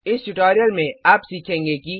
इस ट्यूटोरियल में आप सीखेंगे कि